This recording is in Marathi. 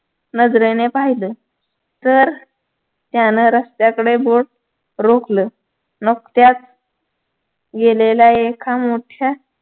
नजरेने पाहिलं तर त्यानं रस्त्याकडे बोट रोखलं नुकत्याच गेलेल्या एका मोठ्या